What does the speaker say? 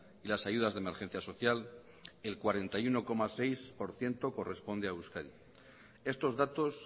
y las ayudas de emergencia social el cuarenta y uno coma seis por ciento corresponde a euskadi estos datos